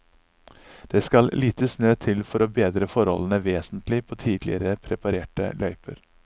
Det skal lite snø til for å bedre forholdene vesentlig på tidligere preparerte løyper.